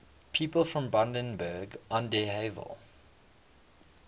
people from brandenburg an der havel